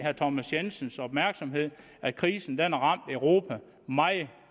thomas jensens opmærksomhed at krisen har ramt europa meget